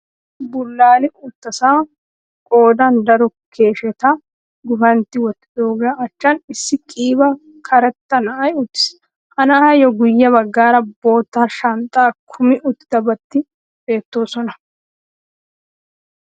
Issi bullaali uttasan qoodan daro keeshsheta guffantti wottidoogaa achchan issi qiiba karetta na'ay uttis. Ha na'ayyo guye baggaara bootta shanxxaa kumi uttidabaati beetteesona.